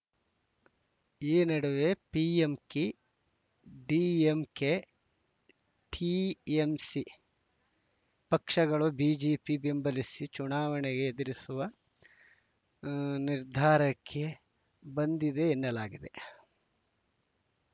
ಈ ನಡುವೆ PMK DMDK TMC ಪಕ್ಷಗಳೂ ಬಿಜೆಪಿ ಬೆಂಬಲಿಸಿ ಚುನಾವಣೆ ಎದುರಿಸುವ ನಿರ್ಧಾರಕ್ಕೆ ಬಂದಿದೆ ಎನ್ನಲಾಗಿದೆ